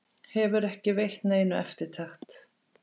Hefur ekki veitt neinu eftirtekt.